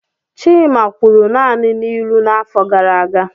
Chima kwuru naanị n'ilu n'afọ gara aga.